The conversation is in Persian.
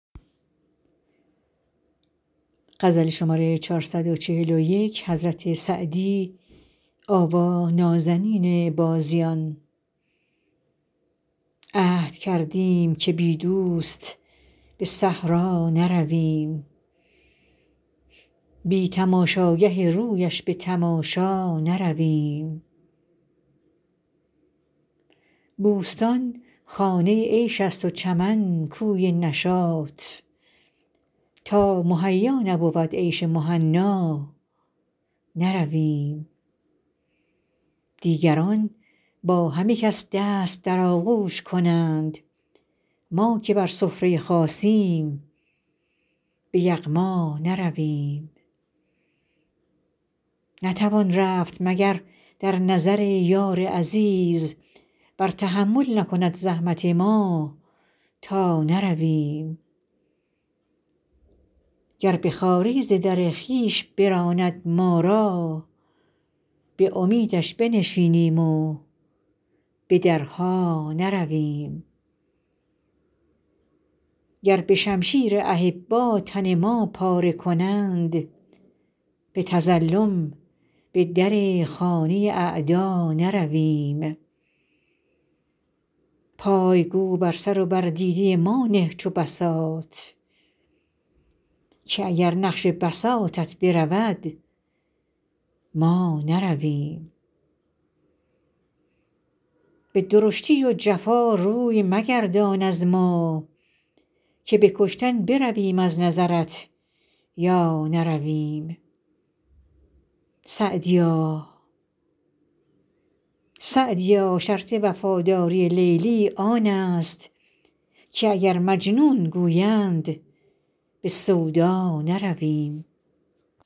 عهد کردیم که بی دوست به صحرا نرویم بی تماشاگه رویش به تماشا نرویم بوستان خانه عیش است و چمن کوی نشاط تا مهیا نبود عیش مهنا نرویم دیگران با همه کس دست در آغوش کنند ما که بر سفره خاصیم به یغما نرویم نتوان رفت مگر در نظر یار عزیز ور تحمل نکند زحمت ما تا نرویم گر به خواری ز در خویش براند ما را به امیدش بنشینیم و به درها نرویم گر به شمشیر احبا تن ما پاره کنند به تظلم به در خانه اعدا نرویم پای گو بر سر و بر دیده ما نه چو بساط که اگر نقش بساطت برود ما نرویم به درشتی و جفا روی مگردان از ما که به کشتن برویم از نظرت یا نرویم سعدیا شرط وفاداری لیلی آن است که اگر مجنون گویند به سودا نرویم